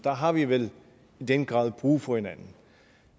har vi vel i den grad brug for hinanden